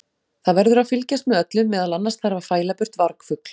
Það verður að fylgjast með öllu, meðal annars þarf að fæla burt vargfugl.